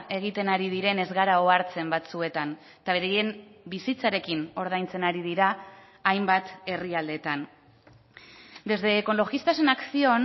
egiten ari diren ez gara ohartzen batzuetan eta beraien bizitzarekin ordaintzen ari dira hainbat herrialdeetan desde ecologistas en acción